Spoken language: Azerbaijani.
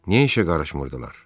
Niyə işə qarışmırdılar?